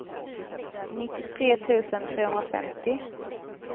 nittiotre tusen trehundrafemtio